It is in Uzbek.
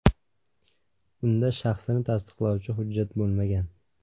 Unda shaxsini tasdiqlovchi hujjat bo‘lmagan.